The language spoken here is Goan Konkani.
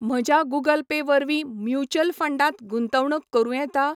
म्हज्या गूगल पे वरवीं म्युच्युअल फंडांत गुंतवणूक करूं येता?